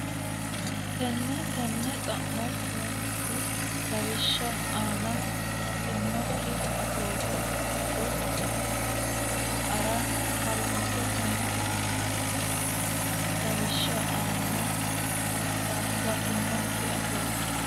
Tenne tenne xa mo horoonsi re lawishsha aana huwattinokki Atoote doogo tayisse sa ara ha runse Tenne tenne xa mo horoonsi re lawishsha aana huwattinokki Atoote.